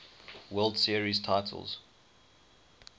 world series titles